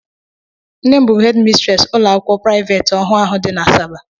Nne m bụ hedi mistresi ụlọakwụkwọ praiveeti ọhụụ ahụ dị n' Asaba.